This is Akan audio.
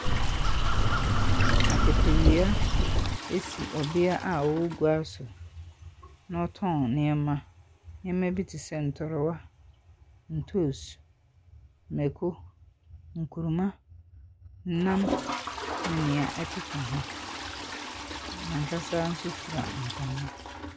Akatawia si ɔbaa a ɔwɔ gua so, na ɔtɔn nneɛma, nneɛma bi te sɛ ntorowa, ntoosi, mako, nkuruma, nam ne nea ɛkeka ho. N'ankasa nso fira ntama.